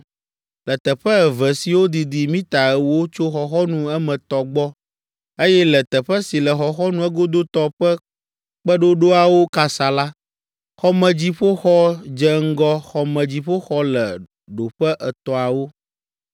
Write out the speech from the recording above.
Le teƒe eve siwo didi mita ewo tso xɔxɔnu emetɔ gbɔ, eye le teƒe si le xɔxɔnu egodotɔ ƒe kpeɖoɖoawo kasa la, xɔmedziƒoxɔ dze ŋgɔ xɔmedziƒoxɔ le ɖoƒe etɔ̃awo.